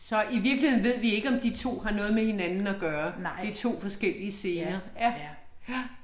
I virkeligheden ved vi ikke om de 2 har noget med hinanden at gøre, det er 2 forskellige scener. Ja. Ja